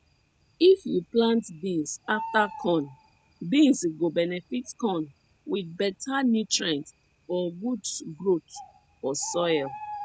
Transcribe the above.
if you plant beans afta corn beans go benefit corn with better nutrients for good growth for soil